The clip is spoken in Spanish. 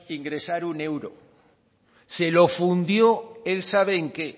ingresar un euro se lo fundió él sabe en qué